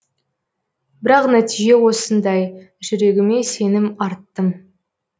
бірақ нәтиже осындай жүрегіме сенім арттым